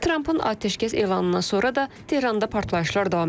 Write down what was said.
Trampın atəşkəs elanından sonra da Tehranda partlayışlar davam edib.